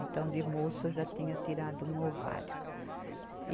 Então, de moça, eu já tinha tirado um ovário.